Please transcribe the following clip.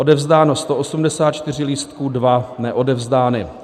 Odevzdáno 184 lístků, 2 neodevzdány.